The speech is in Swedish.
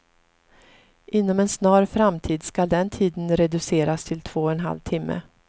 Inom en snar framtid skall den tiden reduceras till två och en halv timme.